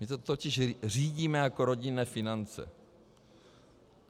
My to totiž řídíme jako rodinné finance.